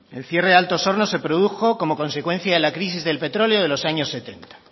el cierre de altos hornos se produjo como consecuencia de la crisis del petróleo de los años setenta